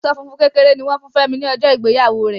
Aṣọ funfun kékeré ni wọn fún Femi ni ọjọ ìgbéyàwó rẹ.